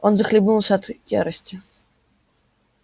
он захлебнулся от ярости